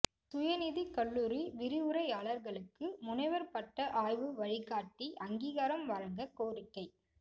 சுயநிதிக் கல்லூரி விரிவுரையாளா்களுக்கு முனைவா் பட்ட ஆய்வு வழிகாட்டி அங்கீகாரம் வழங்கக் கோரிக்கை